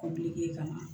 Kɔbilen ka na